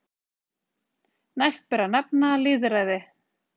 Næst ber að nefna lýðræði.